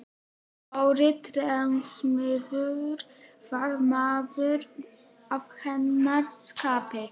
Dóri trésmiður var maður að hennar skapi.